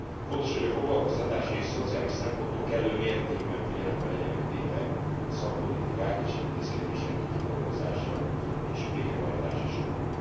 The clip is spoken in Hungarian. Fontos, hogy a foglalkoztatási és szociális szempontok kellő mértékben figyelembe legyenek véve a szakpolitikák és intézkedések kidolgozása és végrehajtása során.